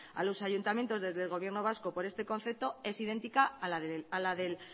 a los ayuntamientos desde el gobierno vasco por este concepto es idéntica a la del